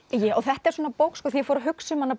þetta er svona bók þegar ég fór að hugsa um hana